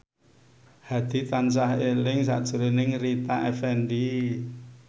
Hadi tansah eling sakjroning Rita Effendy